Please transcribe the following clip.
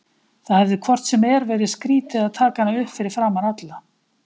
Það hefði hvort sem er verið skrýtið að taka hana upp fyrir framan alla.